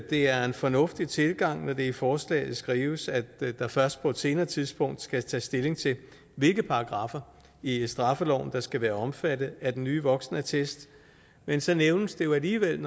det er en fornuftig tilgang når der i forslaget skrives at der først på et senere tidspunkt skal tages stilling til hvilke paragraffer i straffeloven der skal være omfattet af den nye voksenattest men så nævnes der jo alligevel